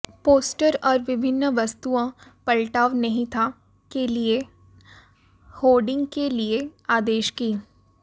poster और विभिन्न वस्तुओं पलटाव नहीं था के लिए होर्डिंग के लिए आदेश की